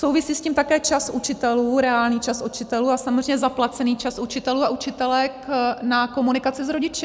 Souvisí s tím také čas učitelů, reálný čas učitelů a samozřejmě zaplacený čas učitelů a učitelek na komunikaci s rodiči.